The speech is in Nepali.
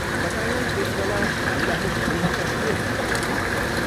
तपाईँलाई त्यस बेला मामिलाहरू बढिरहेका थिए भन्ने थाहा छ?